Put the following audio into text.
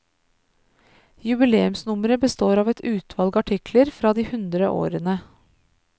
Jubileumsnummeret består av et utvalg artikler fra de hundre årene.